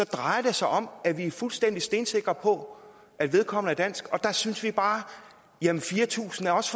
drejer det sig om at vi er fuldstændig stensikre på at vedkommende er dansk og der synes vi bare at fire tusind også